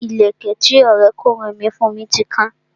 Ìlẹ̀kẹ̀ tí Ọrẹ kunrin mi fún mi ti kan